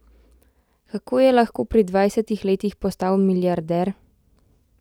Kako je lahko pri dvajsetih letih postal milijarder?